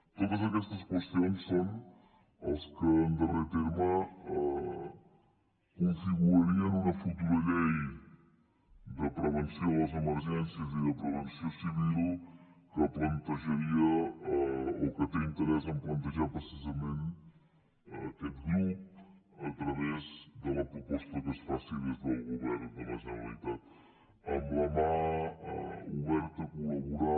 totes aquestes qüestions són les que en darrer terme configurarien una futura llei de prevenció de les emergències i de protecció civil que plantejaria o que té interès a plantejar precisament aquest grup a través de la proposta que es faci des del govern de la generalitat amb la mà oberta a col·laborar